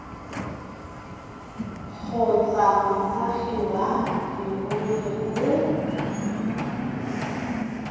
kgotsa moagi wa leruri o